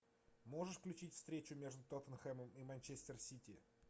можешь включить встречу между тоттенхэмом и манчестер сити